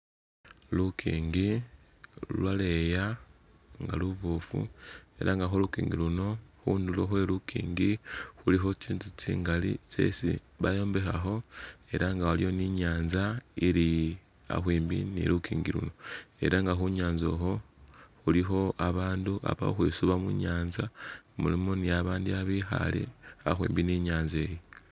Lukingi lulwaleya nga lubofu elah nga khulukingi luno khundulo khwelukingi khulikho tsintsu tsingali tsesi bayombekhakho elah nga waliwo ninyanza ili akhwimbi ni lukingi luno elah nga khunyanza ukhwo khulikho abandu bali khukhwisuba munyanza mulimo nibabandi babekhale akhwimbi ninyanzayo